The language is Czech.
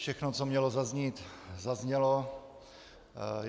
Všechno, co mělo zaznít, zaznělo.